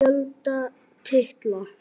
Fjöldi titla